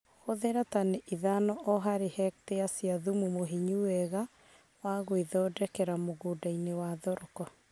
Hũthira tani ithano o harĩ hektĩa cia thumu mũhinyu wega wa gwĩthondekera mũgũndainĩ wa thoroko